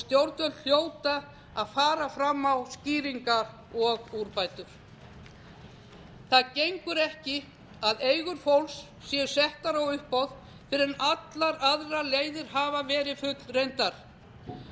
stjórnvöld hljóta að fara fram á skýringar og úrbætur það gengur ekki að eigur fólks séu settar á uppboð fyrr en allar aðrar leiðir hafa verið fullreyndar